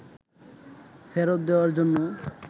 ফেরত দেওয়ার জন্য